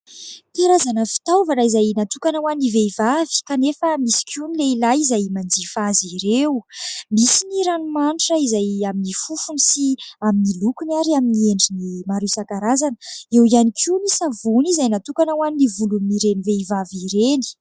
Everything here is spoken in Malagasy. Karazana fitaovana izay natokana ho an'ny vehivavy, kanefa misy koa ny lehilahy izay manjifa azy ireo. Misy ny ranomanitra izay amin'ny fofony sy amin'ny lokony ary amin'ny endriny maro isankarazany. Eo ihany koa ny savony izay natokana ho an'ny volon'ireny vehivavy ireny.